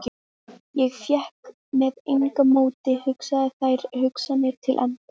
Ég fékk með engu móti hugsað þær hugsanir til enda.